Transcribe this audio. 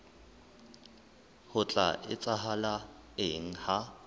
ho tla etsahala eng ha